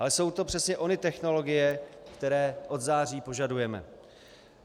Ale jsou to přesně ony technologie, které od září požadujeme.